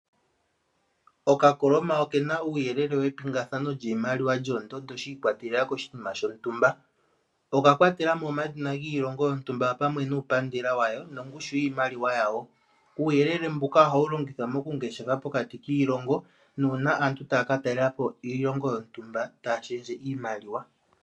Okakoloma okena uuyelele wepingathano lyiimaliwa yoondundu shiikwatelela koshinima shontumba. Oka kwatelamo omadhina giilongo yontumba opamwe nuupandela wayo nongushu yiimaliwa yawo. Uuyelele mbuka ohawu longithwa mokungeshefa pokati kiilongo nuuna aantu taya katalelapo iilongo yontumba taya shendje iimaliwa.